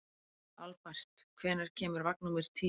Albert, hvenær kemur vagn númer tíu?